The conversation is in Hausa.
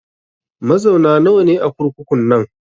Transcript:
Mazauna nawa ne a kurkukun nan?